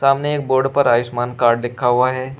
सामने एक बोर्ड पर आयुष्मान कार्ड लिखा हुआ है।